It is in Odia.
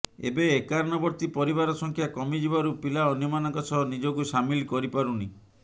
ଏବେ ଏକାନ୍ନବର୍ତ୍ତୀ ପରିବାର ସଂଖ୍ୟା କମିଯିବାରୁ ପିଲା ଅନ୍ୟମାନଙ୍କ ସହ ନିଜକୁ ସାମିଲ କରିପାରୁନି